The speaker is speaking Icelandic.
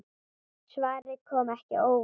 Svarið kom ekki á óvart.